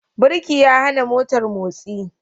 Birki ya hana motar motsi.